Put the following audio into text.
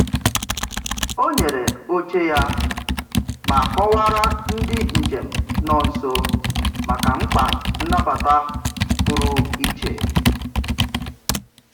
Ọ nyere oche ya ma kọwaara ndị njem nọ nso maka mkpa nnabata pụrụ iche.